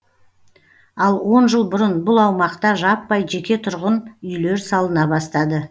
ал он жыл бұрын бұл аумақта жаппай жеке тұрғын үйлер салына бастады